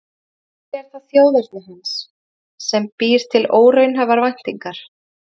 Kannski er það þjóðerni hans sem býr til óraunhæfar væntingar.